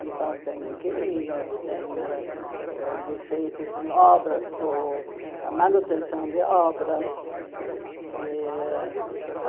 Então, tem inquilinos, tem ãh ãh defeitos em obras, ou a manutenção de obras. Eh a